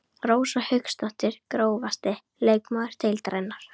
Rósa Hauksdóttir Grófasti leikmaður deildarinnar?